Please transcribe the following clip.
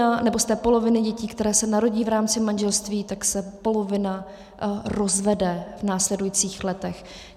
A z té poloviny dětí, které se narodí v rámci manželství, tak se polovina rozvede v následujících letech.